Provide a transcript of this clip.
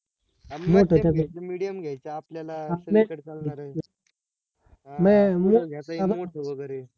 एकदम medium घ्यायचं आपल्याला सगडी कडे चालणार आहे. घेता येईल मोठं वगैरे